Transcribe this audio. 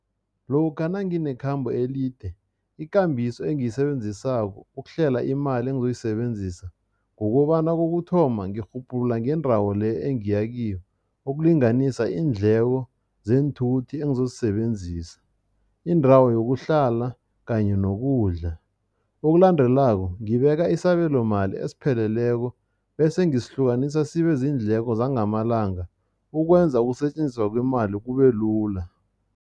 Lokha nangikhambo elide, ikambiso engiyisebenzisako ukuhlela imali engizoyisebenzisa, kukobana kokuthoma, ngirhubhulula ngendawo le engiya kiyo, ukulinganisa iindleko zeenthuthi engizozisebenzisa, indawo yokuhlala kanye nokudla. Okulandelako ngibeka isabelomali esipheleleko bese ngisihlukanisa sibe ziindleko zangamalanga, ukwenza ukusetjenziswa kwemali kubelula.